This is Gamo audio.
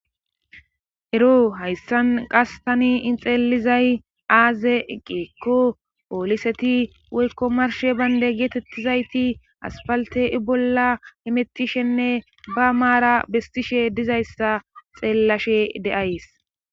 ero hayssan qas tani xeelizay aaze eqeekko pooliseti woykko marshe baynde geetettizayti asfalte i bolla emettishenne ba maara bestishe dizayssa xeellashe de7ays